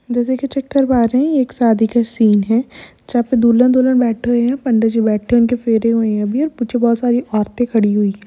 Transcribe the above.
जैसे की चेक कर पा रहे है एक शादी का सीन है जहां पर दूल्हा-दुल्हन बैठे हुए हैं पंडी जी बैठे हैं उनके फेरे हुए हैं अभी पीछे औरतें खड़ी हुई है।